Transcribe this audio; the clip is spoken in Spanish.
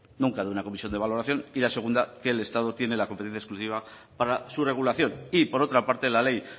nunca de una comisión de valoración y la segunda que el estado tiene la competencia exclusiva para su regulación y por otra parte la ley